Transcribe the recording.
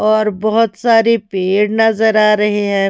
और बहुत सारे पेड़ नजर आ रहे हैं।